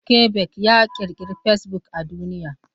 Mark Zuckerberg ya ƙirkiro fasebuk a duniya.